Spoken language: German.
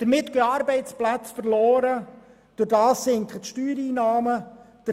Dadurch gehen Arbeitsplätze verloren und die Steuereinnahmen sinken.